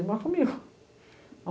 Ele mora comigo.